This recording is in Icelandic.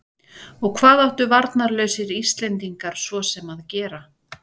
Og hvað áttu varnarlausir Íslendingar svo sem að gera?